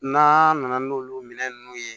N'a nana n'olu minɛn ninnu ye